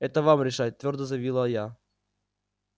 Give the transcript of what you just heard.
это вам решать твёрдо заявила я